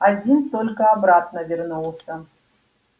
один только обратно вернулся